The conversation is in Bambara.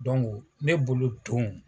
ne bolo don